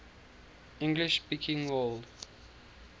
english speaking world